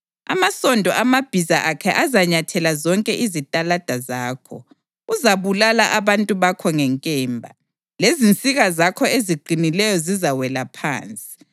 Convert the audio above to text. Amasondo amabhiza akhe azanyathela zonke izitalada zakho; uzabulala abantu bakho ngenkemba; lezinsika zakho eziqinileyo zizawela phansi.